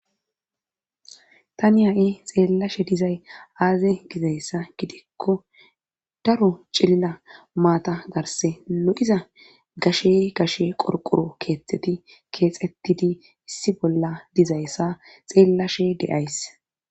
Tani ha"i xeellashe dizay aaze gizayssa gidikko daro cilila maata garse lo7iza gashe gashe qorqoro keeththeti keexettidi issi bolla dizayssa xeellashe deyays